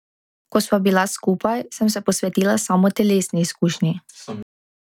Ko sva bila skupaj, sem se posvetila samo telesni izkušnji.